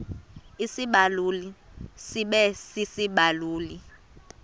isibaluli sibe sisibaluli